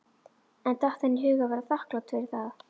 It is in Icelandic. En datt henni í hug að vera þakklát fyrir það?